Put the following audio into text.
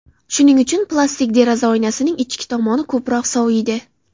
Shuning uchun, plastik deraza oynasining ichki tomoni ko‘proq soviydi.